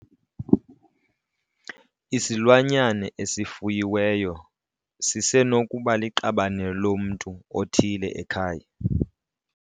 Isilwanyana esifuyiweyo sisenokuba liqabane lomntu othile ekhaya.